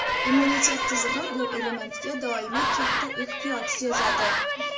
Immunitet tizimi bu elementga doimiy katta ehtiyoj sezadi.